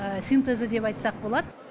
синтезі деп айтсақ болады